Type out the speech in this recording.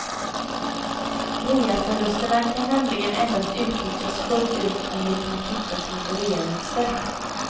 Reaförlusterna kan nämligen endast utnyttjas fullt ut om de kan kvittas mot reavinster.